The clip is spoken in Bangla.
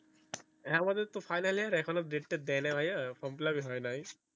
হ্যাঁ আমাদের তো final year এখনও তো date তা দাই নাই ভায়া form fill up ই হয়ই না